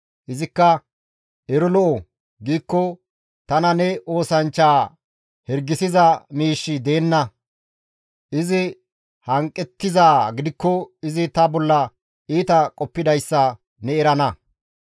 Izikka, ‹Ero lo7o› giikko tana ne oosanchchaa hirgisiza miishshi deenna; izi hanqettizaa gidikko izi ta bolla iita qoppidayssa ne erana.